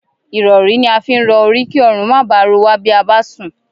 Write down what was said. Ìrọ̀rí ni a fi ń rọ orí kí ọrùn má baà ro wá bí a bá sùn